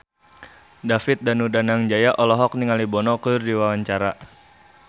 David Danu Danangjaya olohok ningali Bono keur diwawancara